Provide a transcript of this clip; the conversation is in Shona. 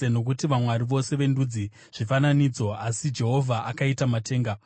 Nokuti vamwari vose vendudzi zvifananidzo, asi Jehovha akaita matenga.